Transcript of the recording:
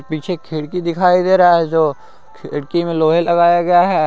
पीछे खिड़की दिखाई दे रहा है जो खिड़की में लोहे लगाया गया है।